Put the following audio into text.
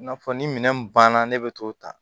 I n'a fɔ ni minɛn banna ne bɛ t'o ta